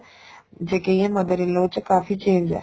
ਜੇ ਕਹਿਏ mother in law ਦੇ ਵਿੱਚ ਕਾਫੀ change ਏ